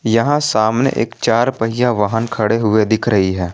यहां सामने एक चार पहिया वाहन खड़े हुए दिख रही है।